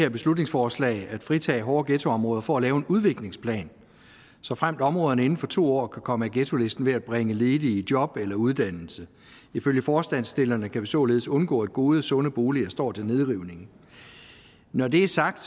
her beslutningsforslag at fritage hårde ghettoområder for at lave en udviklingsplan såfremt områderne inden for to år kan komme af ghettolisten ved at bringe ledige i job eller uddannelse ifølge forslagsstillerne kan vi således undgå at gode og sunde boliger står til nedrivning når det er sagt